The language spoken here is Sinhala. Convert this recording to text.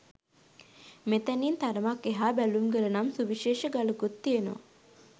මෙතැනින් තරමක් එහා බැලුම්ගල නම් සුවිශේෂ ගලකුත් තියෙනවා.